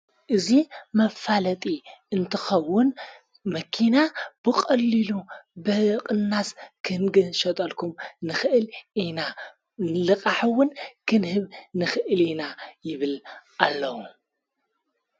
እዙ መፋለጢ እንትኸውን መኪና ብቐልሉ በቕናስ ክንግህ ሸጠልኩም ንኽእል ኢና ንልቓሕውን ክንህብ ንኽእል ኢና ይብል ኣለዉ።